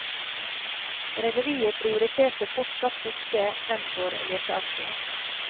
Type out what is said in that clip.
Rederiet prioriterte fortsatt fiske fremfor leteaksjon.